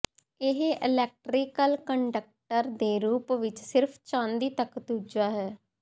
ਇਹ electrical conductor ਦੇ ਰੂਪ ਵਿੱਚ ਸਿਰਫ ਚਾਂਦੀ ਤੱਕ ਦੂਜਾ ਹੈ